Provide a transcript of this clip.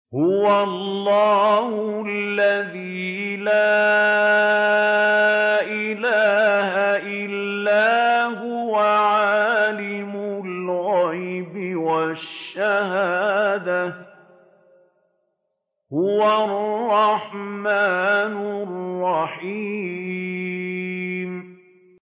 هُوَ اللَّهُ الَّذِي لَا إِلَٰهَ إِلَّا هُوَ ۖ عَالِمُ الْغَيْبِ وَالشَّهَادَةِ ۖ هُوَ الرَّحْمَٰنُ الرَّحِيمُ